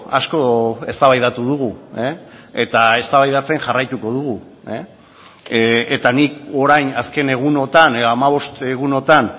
asko eztabaidatu dugu eta eztabaidatzen jarraituko dugu eta nik orain azken egunotan edo hamabost egunotan